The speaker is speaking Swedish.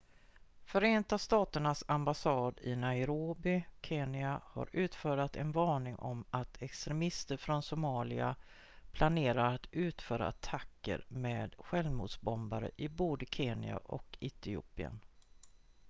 "förenta staternas ambassad i nairobi kenya har utfärdat en varning om att "extremister från somalia" planerar att utföra attacker med självmordsbomber i både kenya och etiopien.